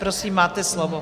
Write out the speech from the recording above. Prosím, máte slovo.